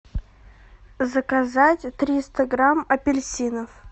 заказать триста грамм апельсинов